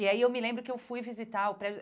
E aí eu me lembro que eu fui visitar o prédio.